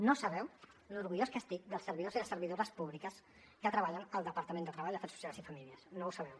no sabeu l’orgullós que estic dels servidors i les servidores públiques que treballen al departament de treball afers socials i famílies no ho sabeu